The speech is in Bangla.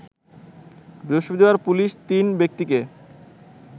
বৃহস্পতিবার পুলিশ তিন ব্যক্তিকে